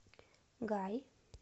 гай